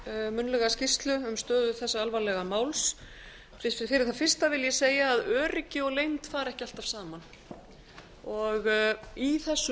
munnlega skýrslu um stöðu þessa alvarlega máls fyrir það fyrsta vil ég segja að öryggi og leynd fara ekki alltaf saman í þessu